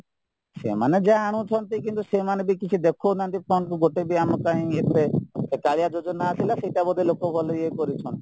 ସେମାନେ ଜାଣୁଛନ୍ତି କିନ୍ତୁ ସେମାନେବି କିଛି ଦେଖଉ ନାହାନ୍ତି fund କୁ ଗୋଟେ ବି ଆମ ପାଇଁ ଏବେ ସେ କାଳିଆ ଯୋଜନା ଆସିଲା ସେଇଟା ଲୋକ ଗଲେ ଇୟେ କରୁଛନ୍ତି